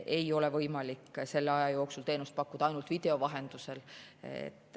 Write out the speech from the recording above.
Ei ole võimalik selle aja jooksul teenust pakkuda ainult video vahendusel.